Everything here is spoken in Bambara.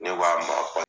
Ne b'a ma